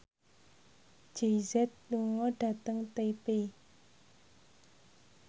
Jay Z lunga dhateng Taipei